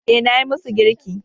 Eh, nayi musu girki